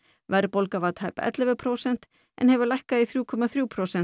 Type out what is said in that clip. verðbólga var tæp ellefu prósent en hefur lækkað í þrjú komma þrjú prósent